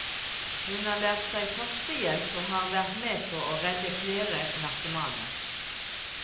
Hun har lært seg førstehjelp og har vært med på å redde flere narkomane.